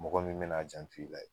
Mɔgɔ min be n'a janto i la.